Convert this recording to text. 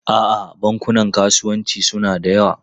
A'a, bankunan kasuwanci suna da yawa.